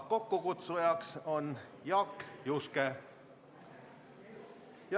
Kokkukutsuja on Jaak Juske.